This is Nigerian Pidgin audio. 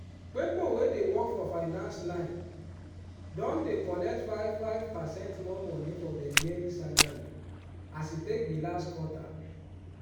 pipo wey dey work for finance line don dey collect five five percent more money for dem yearly salary as e take be last quarter